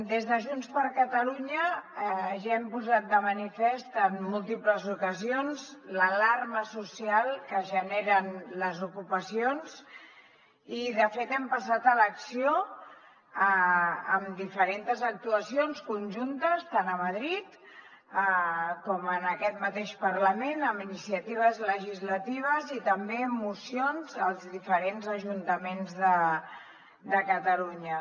des de junts per catalunya ja hem posat de manifest en múltiples ocasions l’alarma social que generen les ocupacions i de fet hem passat a l’acció amb diferents actuacions conjuntes tant a madrid com en aquest mateix parlament amb iniciatives legislatives i també amb mocions als diferents ajuntaments de catalunya